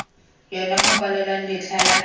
yona go kwalwang letlha la